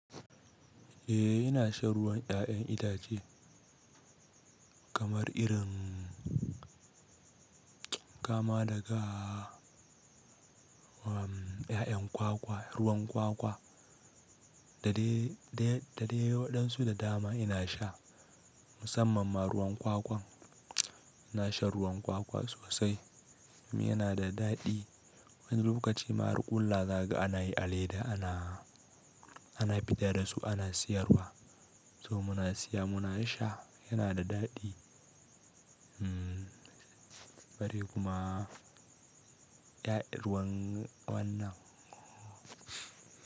Eh ina shan ruwan 'ya'yan itace kamar irin kama daga am, 'ya'yan kwakwa, ruwan kwakwa da dai waɗansu da dama ina sha. Musamman ma ruwan kwakwan ina shan ruwan kwakwa sosai. Yana da daɗi. Wani lokaci ma har ƙullawa zaka ana yi a leda ana, ana fita da su ana sayarwa. To muna saya muna sha, yana da daɗi. Bare kuma, ruwan wannan.